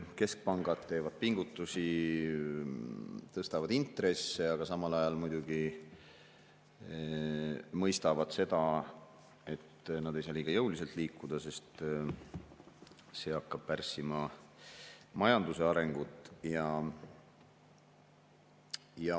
Keskpangad teevad pingutusi, tõstavad intresse, aga samal ajal muidugi mõistavad, et nad ei saa liiga jõuliselt liikuda, sest see hakkab pärssima majanduse arengut.